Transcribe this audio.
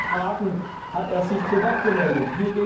In anderen Fragen hat er sich zu Wort gemeldet.